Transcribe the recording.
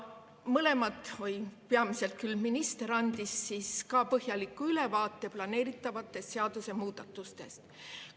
Mõlemad andsid või peamiselt küll minister andis põhjaliku ülevaate planeeritavatest seadusemuudatustest.